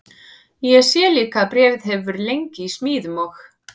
Ég sé líka að bréfið hefur verið lengi í smíðum og